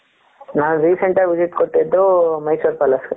ನಾವು Recent ಆಗಿ visit ಕೊಟ್ಟಿದ್ದು ಮೈಸೂರ್ ಪ್ಯಾಲೇಸ್ .